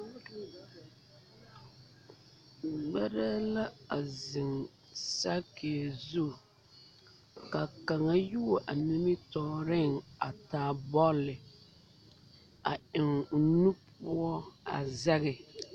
Gbɛrɛɛ la a zeŋ saakie zu ka kaŋa yuo a nimitɔɔreŋ a taa bɔli a eŋ o nu poɔ a sege